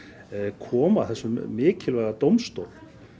koma þessum mikilvæga dómstól